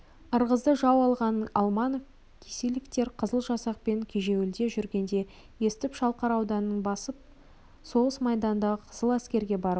ырғызды жау алғанын алманов кисилевтер қызыл жасақпен кежеуілде жүргенде естіп шалқар ауданын басып соғыс майданындағы қызыл әскерге барып